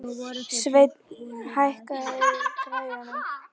Sveinn, hækkaðu í græjunum.